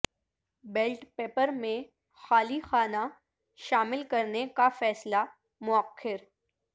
belt paper میں خالی خانہ شامل کرنے کا فیصلہ موخر